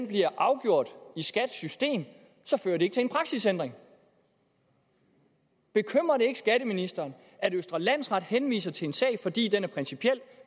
bliver afgjort i skats system så fører det ikke til en praksisændring bekymrer det ikke skatteministeren at østre landsret henviser til en sag fordi den er principiel